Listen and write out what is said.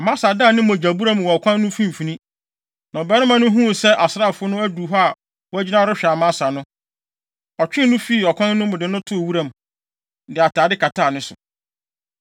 Amasa daa ne mogyabura mu wɔ ɔkwan no mfimfini. Na ɔbarima no huu sɛ asraafo no adu hɔ a wɔagyina rehwɛ Amasa no, ɔtwee no fii ɔkwan no mu, de no too wuram, de atade kataa ne so.